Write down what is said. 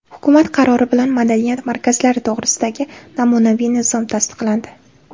Hukumat qarori bilan Madaniyat markazlari to‘g‘risidagi namunaviy nizom tasdiqlandi.